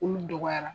Olu dɔgɔyara